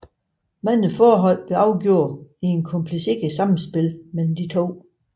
Mange forhold afgøres i et kompliceret samspil mellem de to